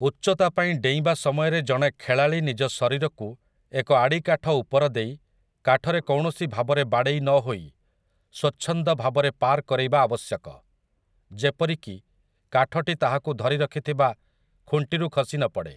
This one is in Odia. ଉଚ୍ଚତା ପାଇଁ ଡେଇଁବା ସମୟରେ ଜଣେ ଖେଳାଳୀ ନିଜ ଶରୀରକୁ ଏକ ଆଡ଼ିକାଠ ଉପର ଦେଇ, କାଠରେ କୌଣସି ଭାବରେ ବାଡ଼େଇ ନହୋଇ, ସ୍ୱଚ୍ଛନ୍ଦ ଭାବରେ ପାର କରେଇବା ଆବଶ୍ୟକ, ଯେପରିକି କାଠଟି ତାହାକୁ ଧରିରଖିଥିବା ଖୁଣ୍ଟିରୁ ଖସିନପଡ଼େ ।